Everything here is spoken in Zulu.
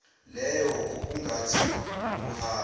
leyo okungathi ukuhamba